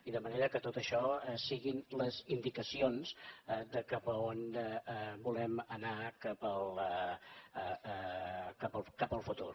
i de manera que tot això siguin les indicacions de cap a on volem anar cap al futur